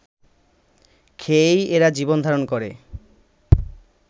খেয়েই এরা জীবন ধারণ করে